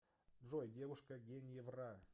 джой девушка геньевра